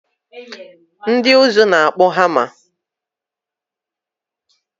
Ndị ụzụ na-akpụ hama